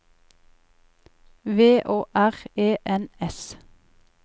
V Å R E N S